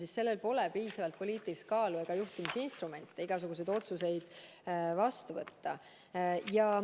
Aga sellel pole piisavalt poliitilist kaalu ega juhtimisinstrumente, et igasuguseid otsuseid vastu võtta.